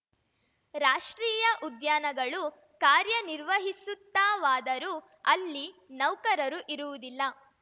ರಾಷ್ಟ್ರೀಯ ಉದ್ಯಾನಗಳು ಕಾರ್ಯನಿರ್ವಹಿಸುತ್ತಾವಾದರೂ ಅಲ್ಲಿ ನೌಕರರು ಇರುವುದಿಲ್ಲ